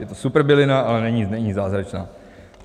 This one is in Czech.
Je to super bylina, ale není zázračná.